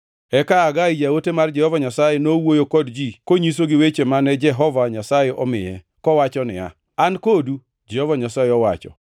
Eka Hagai jaote mar Jehova Nyasaye, nowuoyo kod ji konyisogi weche mane Jehova Nyasaye omiye, kowacho niya, “An kodu,” Jehova Nyasaye owacho.